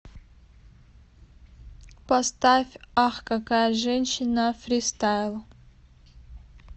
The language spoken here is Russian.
поставь ах какая женщина фристайл